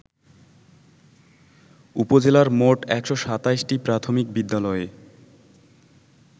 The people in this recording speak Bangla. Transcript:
উপজেলার মোট ১২৭টি প্রাথমিক বিদ্যালয়ে